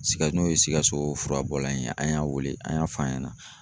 Sika n'o ye sikaso furabɔlanin ye ,an y'a wele an y'a f'a ɲɛna